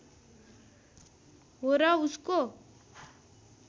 हो र उसको